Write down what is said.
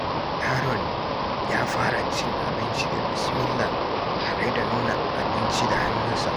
Yaron ya fara cin abinci da "Bismillah" tare da nuna abinci da hannunsa.